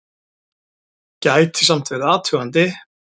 Gæti samt verið athugandi!